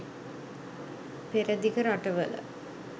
පෙරදිග රටවල